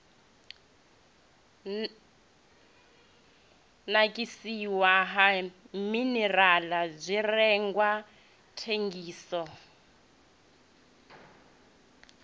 nakiswa ha minirala zwirengwa thengiso